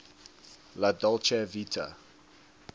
la dolce vita